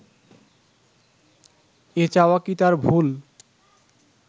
এ চাওয়া কি তার ভুল